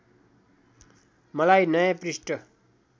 मलाई नयाँ पृष्ठ